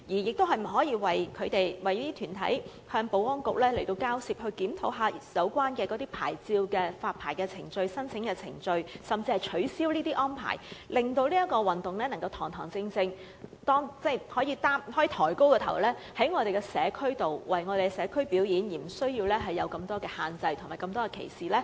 局長可否為這些團體與保安局交涉，檢討有關牌照的發牌程序、申請程序，甚至是取消有關條例下的限制，令這項運動能夠堂堂正正、抬起頭在社區內表演，而無須受到這麼多限制和歧視呢？